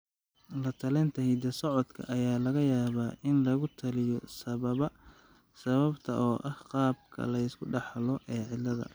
La-talinta hidda-socodka ayaa laga yaabaa in lagu taliyo sababta oo ah qaabka la iska dhaxlo ee cilladda.